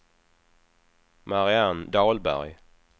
Marianne Dahlberg